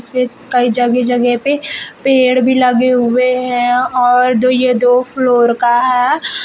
ये कई जगह जगह पे पेड़ भी लगे हुए हैं और दो ये दो फ्लोर का है।